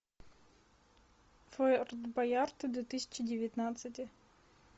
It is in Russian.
форт боярд две тысячи девятнадцатый